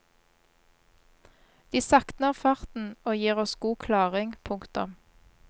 De saktner farten og gir oss god klaring. punktum